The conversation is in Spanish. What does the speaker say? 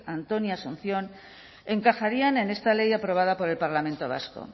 antonio asunción encajarían en esta ley aprobada por el parlamento vasco